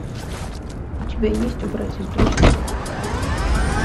у тебя есть убрать из друзей